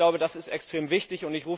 Ich glaube, das ist extrem wichtig.